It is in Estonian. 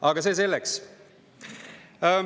Aga see selleks.